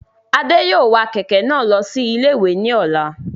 Adé yóò wa kẹ̀kẹ́ náà lọ sí ilé-ìwé ní ọ̀la